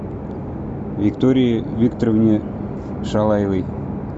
виктории викторовне шалаевой